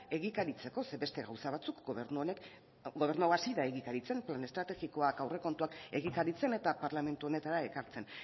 egikaritzeko zeren eta beste gauza batzuk gobernu hau hasi da egikaritzen plan estrategikoak aurrekontuak egikaritzen eta parlamentu honetara ekartzen